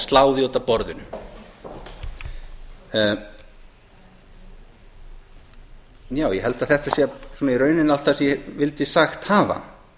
slá því út af út af borðinu ég held að þetta sé í rauninni allt það sem ég vildi sagt hafa